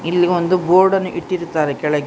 ಇಲ್ಲಿ ಒಂದು ಬೋರ್ಡ್ ಅನ್ನು ಇಟ್ಟಿರುತ್ತಾರೆ ಕೆಳಗೆ --